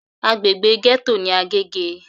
Agbègbè gẹ́tò ní Agége.